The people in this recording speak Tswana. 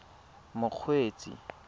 mokgweetsi